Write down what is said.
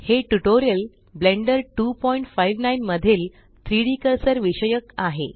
हे tutorial Blender 259 मधील 3डी कर्सर विषयक आहे